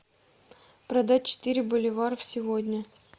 продать четыре боливара сегодня